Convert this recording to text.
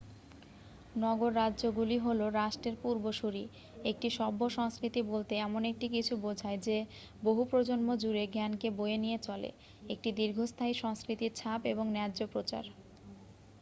নগর-রাজ্যগুলি হলো রাষ্ট্রের পূর্বসূরী একটি সভ্য সংস্কৃতি বলতে এমন একটি কিছু বোঝায় যে বহু প্রজন্ম জুড়ে জ্ঞানকে বয়ে নিয়ে চলে একটি দীর্ঘস্থায়ী সংস্কৃতির ছাপ এবং ন্যায্য প্রচার